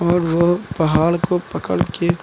और वो पहाड़ को पकड़ के--